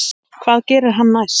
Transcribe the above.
Hvað gerir hann næst?